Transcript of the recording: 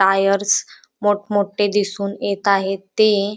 tyres मोठमोठे दिसून येत आहेत ते --